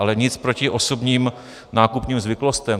Ale nic proti osobním nákupním zvyklostem.